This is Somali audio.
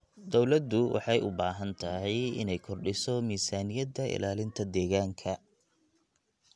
Dawladdu waxay u baahan tahay inay kordhiso miisaaniyada ilaalinta deegaanka.